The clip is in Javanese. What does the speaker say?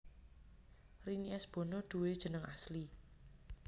Rini S Bono duwé jeneng asli